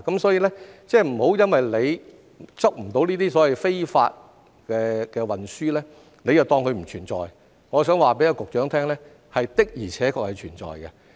所以，不要因為捉不到這些非法運輸，便當它不存在，我想告訴局長，這的而且確是存在的。